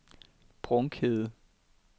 Brunkhede